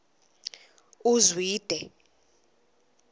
uzwide